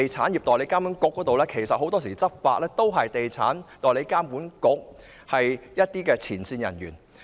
再以地監局為例，很多時執法者都是地監局的前線人員。